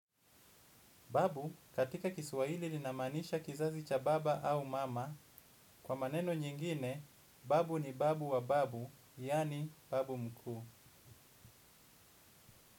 Babu katika kiswahili linamaanisha kizazi cha baba au mama, kwa maneno nyingine, babu ni babu wa babu, yaani babu mkuu.